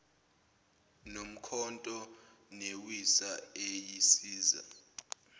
nomkhonto newisa eyisiza